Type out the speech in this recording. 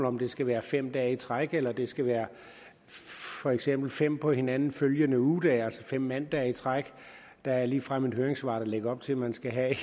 om det skal være fem dage i træk eller det skal være for eksempel fem på hinanden følgende ugedage altså fem mandage i træk der er ligefrem et høringssvar der lægger op til at man skal have